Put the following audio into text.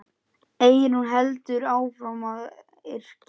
Eyrún heldur áfram að yrkja.